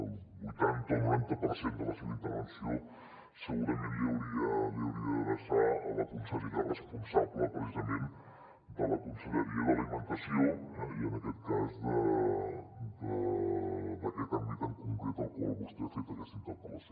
el vuitanta o el noranta per cent de la seva intervenció segurament l’hauria d’adreçar a la consellera responsable precisament de la conselleria d’alimentació eh i en aquest cas d’aquest àmbit en concret al qual vostè ha fet aquesta interpel·lació